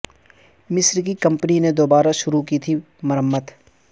مصر کی کمپنی نے دوبارہ شروع کی تھی مرمت